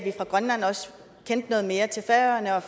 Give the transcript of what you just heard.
i grønland også kendte noget mere til færøerne og